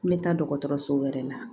N bɛ taa dɔgɔtɔrɔso wɛrɛ la